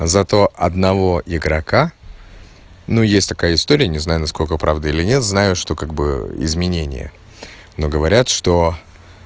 зато одного игрока ну есть такая история не знаю насколько правда или нет знаю что как бы изменение но говорят что